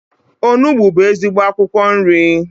Onugbu bụ ezigbo akwụkwọ nri.